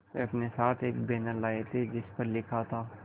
वे अपने साथ एक बैनर लाए थे जिस पर लिखा था